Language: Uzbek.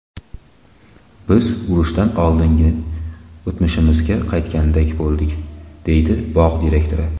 Biz urushdan oldingi o‘tmishimizga qaytganday bo‘ldik”, deydi bog‘ direktori.